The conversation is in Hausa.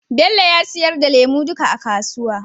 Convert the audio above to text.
Bello ya sayar da lemu duka a kasuwa.